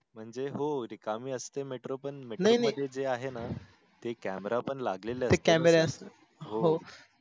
म्हणजे हो म्हणजे रिकामी असते metro पण नाही नाही metro मध्ये जे आहे न ते camera पण लागले असते ते camera असत हो.